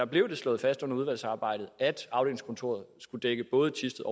blev det slået fast under udvalgsarbejdet at afdelingskontoret skulle dække både thisted